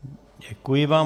Děkuji vám.